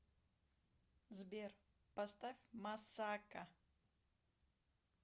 сбер поставь массака